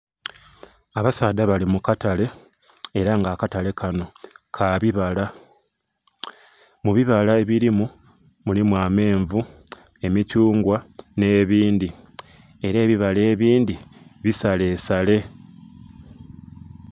Abasaadha bali mu katale ela nga akatale kano ka bibala, mu bibala ebilimu mulimu amenvu, emithungwa nh'ebindhi, ela ebibala ebindhi, bisalesale.